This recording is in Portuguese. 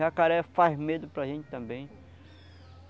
Jacaré faz medo para a gente também.